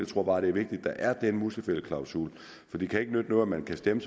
tror bare det er vigtigt at der er den musefældeklausul for det kan ikke nytte noget at man kan stemme